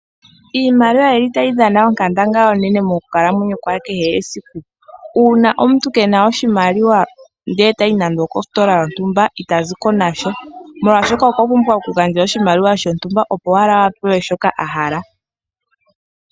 Iimaliwa oyili tayidhana onkandangala onene mokukalamwenyo kwa kehe esiku. Uuna omuntu keena ndele tayi nande okositola yontumba itaziko nasha molwashoka okwapumbwa okugandja oshimaliwa shontumba opo owala apewe shoka ahala.